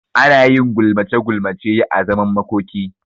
Anayin gulmace gulmace a zaman makoki